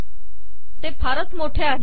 ते फारच मोठे आहे